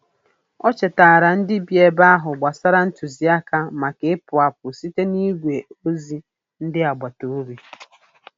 O chetaara ndị bi ebe ahụ gbasara ntụziaka maka ịpụ apụ site n'igwe ozi ndị agbataobi.